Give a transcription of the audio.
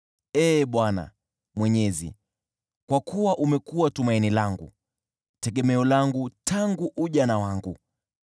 Kwa kuwa umekuwa tumaini langu, Ee Bwana Mwenyezi, tegemeo langu tangu ujana wangu.